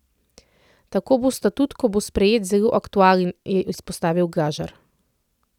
Tako bo statut, ko bo sprejet, zelo aktualen, je izpostavil Glažar.